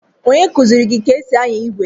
Onye kụziiri gị ka e si anya igwe?